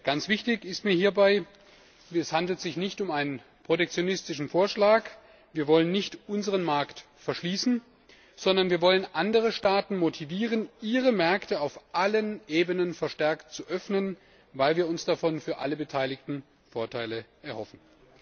Ganz wichtig ist mir hierbei Es handelt sich nicht um einen protektionistischen Vorschlag, wir wollen nicht unseren Markt verschließen, sondern wir wollen andere Staaten motivieren, ihre Märkte auf allen Ebenen verstärkt zu öffnen, weil wir uns davon für alle Beteiligten Vorteile erhoffen.